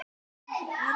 spurði hann reiður.